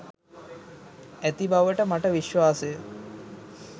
ඇති බවට මට විශ්වාසය.